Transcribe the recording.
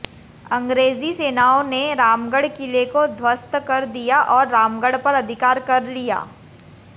अंग्रेजी सेनाओं ने रामगढ़ किले को ध्वस्त कर दिया और रामगढ़ पर अधिकार कर लिया